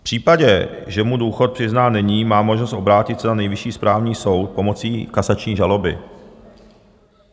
V případě, že mu důchod přiznán není, má možnost obrátit se na Nejvyšší správní soud pomocí kasační žaloby.